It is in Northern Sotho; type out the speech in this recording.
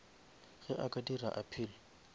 ge a ka dira appeal